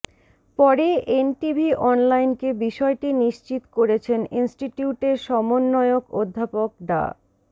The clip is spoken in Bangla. পরে এনটিভি অনলাইনকে বিষয়টি নিশ্চিত করেছেন ইনস্টিটিউটের সমন্বয়ক অধ্যাপক ডা